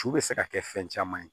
Cu bɛ se ka kɛ fɛn caman ye